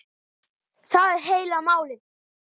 Það er heila málið.